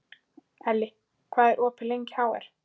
Elli, hvað er opið lengi í HR?